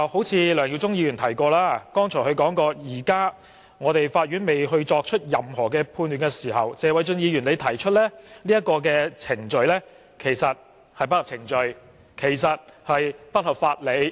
正如梁耀忠議員剛才說，現時法院未作出任何判決，謝偉俊議員就已經提出這項議案其實不合程序亦不合法理。